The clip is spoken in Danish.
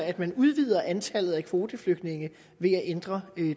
at man udvider antallet af kvoteflygtninge ved at ændre